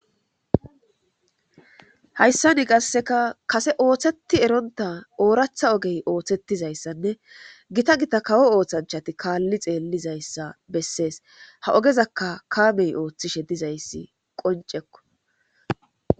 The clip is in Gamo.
Hayssa ni qasseka kase ooththeti eronta ooratha ogey ooththettizayssanne gita gita kawo ooththanchati kaalli xeellizayssa bessees ha ogezakka kamey ooththishe dizayssi qoncekko.